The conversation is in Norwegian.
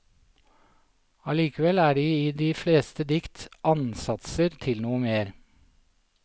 Allikevel er det i de fleste dikt ansatser til noe mer.